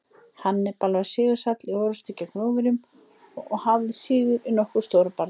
Hannibal var sigursæll í orrustum gegn Rómverjum og hafði sigur í nokkrum stórum bardögum.